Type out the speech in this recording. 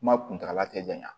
Kuma kuntagala te janya